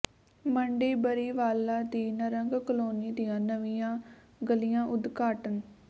ਮੰਡੀ ਬਰੀਵਾਲਾ ਦੀ ਨਾਰੰਗ ਕਲੋਨੀ ਦੀਆਂ ਨਵੀਂਆਂ ਗਲੀਆਂ ਉਦਘਾਟਨ